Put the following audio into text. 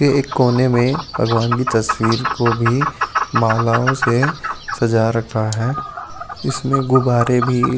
के एक कोने में भगवान की तस्वीर को भी मालाओं से सजा रखा है इसमें गुबारे भी --